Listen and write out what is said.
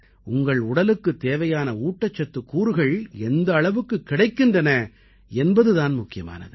உங்கள் உடலுக்குத் தேவையான ஊட்டச்சத்துக் கூறுகள் எந்த அளவுக் கிடைக்கின்றன என்பது தான் முக்கியமானது